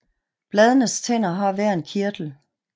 Bladenes tænder har hver en kirtel